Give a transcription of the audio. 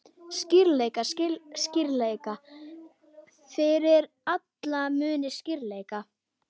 Skýrleika, skýrleika, fyrir alla muni skýrleika!